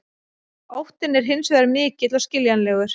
Óttinn er hins vegar mikill og skiljanlegur.